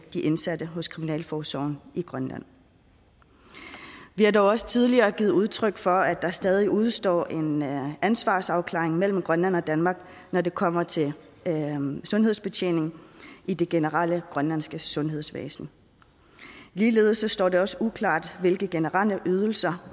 de indsatte hos kriminalforsorgen i grønland vi har dog også tidligere givet udtryk for at der stadig udestår en ansvarsafklaring mellem grønland og danmark når det kommer til sundhedsbetjening i det generelle grønlandske sundhedsvæsen ligeledes står det også uklart hvilke generelle ydelser